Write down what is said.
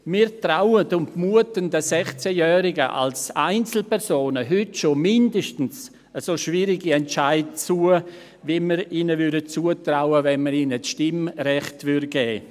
Wir trauen oder muten den 16-Jährigen als Einzelpersonen schon heute mindestens so schwierige Entscheide zu, wie wir sie ihnen zutrauen würden, wenn wir ihnen das Stimmrecht geben würden.